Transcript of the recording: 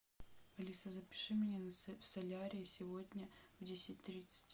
алиса запиши меня в солярий сегодня в десять тридцать